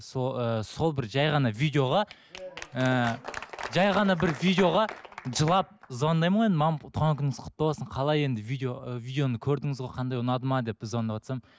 ы сол бір жай ғана видеоға ыыы жай ғана бір видеоға жылап звондаймын ғой енді туған күніңіз құтты болсын қалай енді видео видеоны көрдіңіз ғой қандай ұнады ма деп звондаватсам